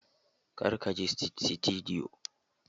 Kar ka je sitidiyo!